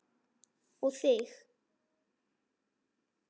Og þig.